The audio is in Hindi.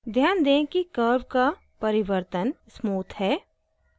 ध्यान दें कि curve का परिवर्तन smooth है